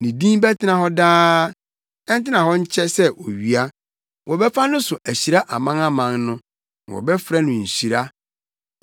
Ne din bɛtena hɔ daa; ɛntena hɔ nkyɛ sɛ owia. Wɔbɛfa no so ahyira amanaman no, na wɔbɛfrɛ no nhyira.